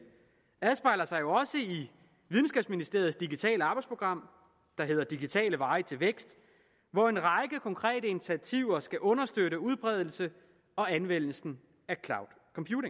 afspejler sig jo også i videnskabsministeriets digitale arbejdsprogram der hedder digitale veje til vækst hvor en række konkrete initiativer skal understøtte udbredelsen og anvendelsen